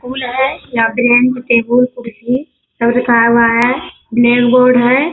फूल है यहाँ bench table कुर्सी सब रखाया हुआ है ब्लैक बोर्ड है।